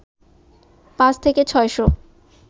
পাঁচ থেকে ছয় শ